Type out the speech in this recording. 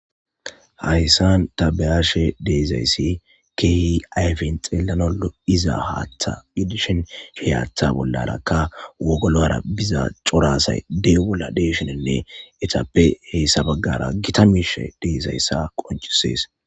hayssan tabeyaashe deezayssi kehi ayfen xeelanoo iza haatha idishen hiyaththa bollarakka wogolo ara biza corasay dee bolla deeshenenne etappe heessa baggara gita miishe deezayssa qojisees